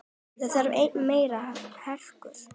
Það þarf enn meiri hörku!